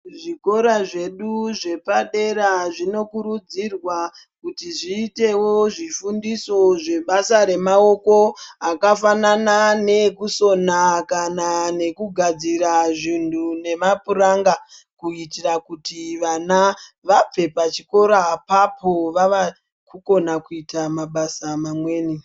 Zvikora zvedu zvepadera zvinokurudzirwa kuti zviitewo zvifundoso zvebasa remaoko zvakafanana neekusona kana nekugadzira zvinhu nemapuranga kuitira kuti vana vabve pachikora apapo vavakukona kuita mabasa mamweni.